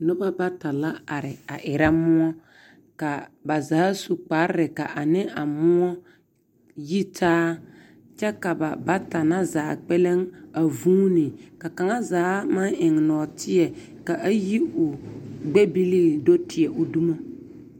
Nobɔ bata la are a erɛ moɔ. K'a ba zaa su kparre ka ane a moɔ yitaa kyɛ ka ba bata na zaa kpɛlɛŋ a vuuni, ka kaŋazaa maŋ eŋ nɔɔteɛ ka a yi o gbɛbilii do teɛ o dumo.